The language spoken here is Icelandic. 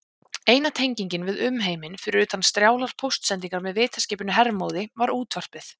Eina tengingin við umheiminn, fyrir utan strjálar póstsendingar með vitaskipinu Hermóði, var útvarpið.